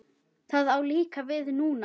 Það á líka við núna.